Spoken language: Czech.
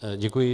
Děkuji.